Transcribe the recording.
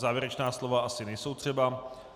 Závěrečná slova asi nejsou třeba.